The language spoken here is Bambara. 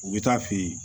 U bɛ taa fe ye